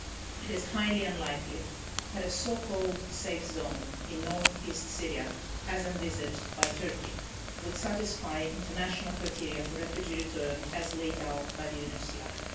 It is highly unlikely that a so-called safe zone' in north-east Syria, as envisaged by Turkey, would satisfy international criteria for refugee return as laid down by the UNHCR.